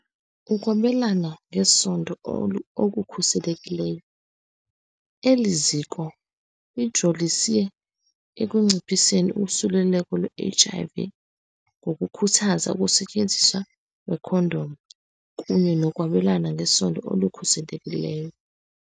Ukwabelana ngesondo okukhuselekileyo. Eli ziko lijolise ekunciphiseni usuleleko lwe-HIV ngokukhuthaza ukusetyenziswa kweekhondom kunye nokwabelana ngesondo okukhuselekileyo.